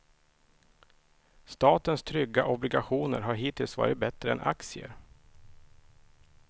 Statens trygga obligationer har hittills varit bättre än aktier.